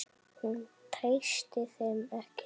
Hún treysti þeim ekki.